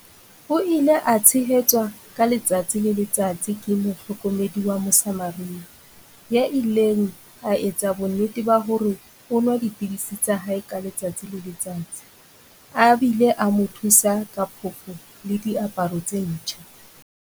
O ile a tshehetswa ka letsatsi le letsatsi ke mo hlokomedi wa Mosamaria, ya ileng a etsa bonnete ba hore o nwa dipidisi tsa hae ka letsatsi le letsatsi, a bile a mo thusa ka phofo le diaparo tse ntjha.